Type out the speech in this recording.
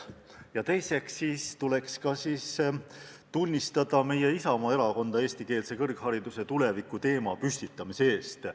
Ja teiseks tuleks tunnustada meie Isamaa Erakonda eestikeelse kõrghariduse tuleviku teema tõstatamise eest.